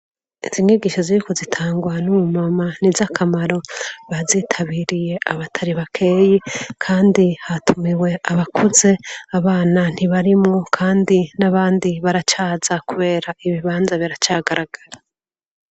izi nyigisho ziriko zitangwa n'umumama niz'akamaro bazitabiriye abatari bakeyi kandi hatumiwe abakuze abana ntibarimwo kandi n'abandi baracaza kubera ibibanza biracagaragara